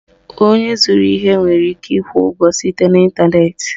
Onye zụrụ ihe nwere ike ịkwụ ụgwọ site n'Ịntanet